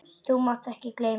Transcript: Þú mátt ekki gleyma því!